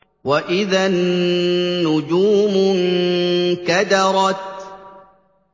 وَإِذَا النُّجُومُ انكَدَرَتْ